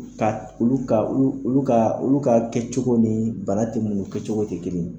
Ka ulu ka uu ulu kaa ulu ka kɛcogo nii bara te munnu kɛcogo te kelen.